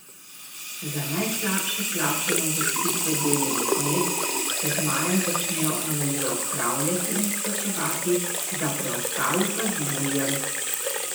Za najslabše plačane uvrstitve delovnih mest se z majem začnejo anomalije odpravljati in izplačevati, za preostale pa z julijem.